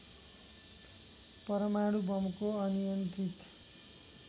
परमाणु बमको अनियन्त्रित